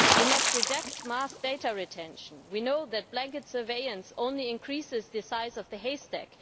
We must reject mass data retention. We know that blanket surveillance only increases the size of the haystack